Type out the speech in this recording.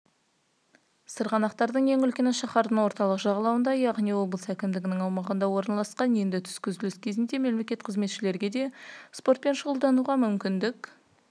сырғанақтардың ең үлкені шаһардың орталық жағалауында яғни облыс әкімдігінің аумағында орналасқан енді түскі үзіліс кезінде мемлекеттік қызметшілерге де спортмен шұғылдануға мүмкіндік